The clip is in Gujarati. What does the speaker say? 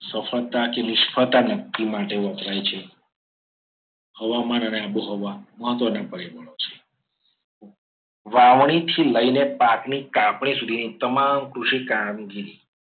સફળતા કે નિષ્ફળતા નક્કી કરવા માટે વપરાય છે. હવામાન અને આબોહવા મહત્વના પરિબળો છે. વાવણીથી લઈને પાકની કાપણી સુધીની તમામ કૃષિ કામગીરી